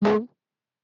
He drank it